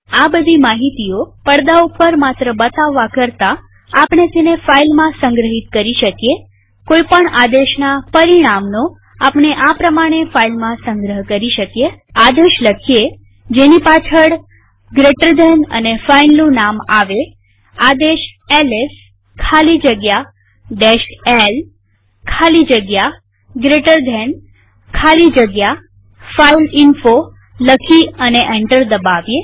આ બધી માહિતીઓ પડદા ઉપર માત્ર બતાવવા કરતાઆપણે તેને ફાઈલમાં સંગ્રહિત કરી શકીએકોઈ પણ આદેશના પરિણામનો આપણે આ પ્રમાણે ફાઈલમાં સંગ્રહ કરી શકીએ આદેશ લખીએ જેની પાછળ જીટી અને ફાઈલનું નામ આવેઆદેશ એલએસ ખાલી જગ્યા l ખાલી જગ્યા જીટી ખાલી જગ્યા ફાઇલઇન્ફો લખી અને એન્ટર દબાવીએ